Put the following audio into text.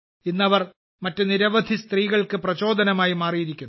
ഇന്ന് അവർ മറ്റ് നിരവധി സ്ത്രീകൾക്ക് പ്രചോദനമായി മാറിയിരിക്കുന്നു